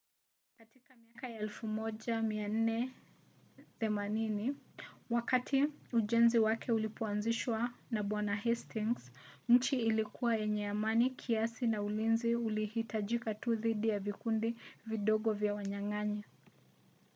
katika miaka ya 1480 wakati ujenzi wake ulipoanzishwa na bwana hastings nchi ilikuwa yenye amani kiasi na ulinzi ulihitajika tu dhidi ya vikundi vidogo vya wanyang’anyi